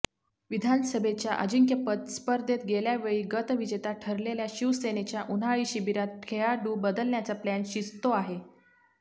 विधानसभेच्या अजिंक्यपद स्पर्धेत गेल्यावेळी गतविजेता ठरलेल्या शिवसेनेच्या उन्हाळी शिबिरात खेळाडू बदलण्याचा प्लॅन शिजतो आहे